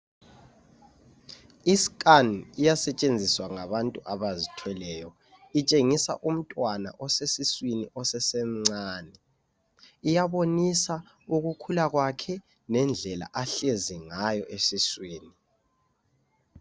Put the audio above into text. I scan iyasetshenziswa ngabantu abazithweleyo. Itshengisa umntwana osesiswini osesemncane. Iyabonisa ukukhula kwakhe, lendlela ahlezi ngayo esiswini.